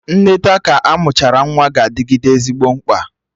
Nneta ka amụchara nwa ga-adịgide ezigbo mkpa